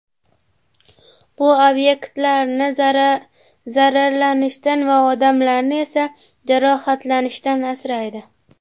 Bu obyektlarni zararlanishdan va odamlarni esa jarohatlanishdan asraydi.